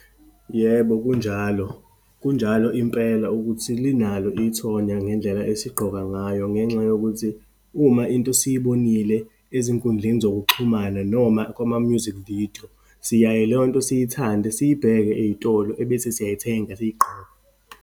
Yebo kunjalo, kunjalo impela ukuthi linalo ithonya ngendlela esigqoka ngayo, ngenxa yokuthi uma into siyibonile ezinkundleni zokuxhumana, noma kwama-music video, siyaye leyonto siyithande, siyibheke eyitolo, ebese siyayithenga, siyigqoke.